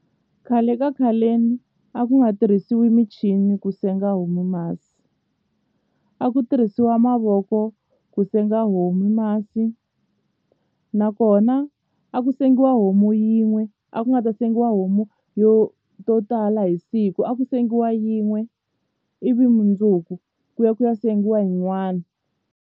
Khale ka khaleni a ku nga tirhisiwi michini ku senga homu masi a ku tirhisiwa mavoko ku senga homu masi nakona mina a ku sengiwa homu yin'we a ku nga ta sengiwa homu yo to tala hi siku a ku sengiwa yin'we ivi mundzuku ku ya ku ya sengiwa yin'wana.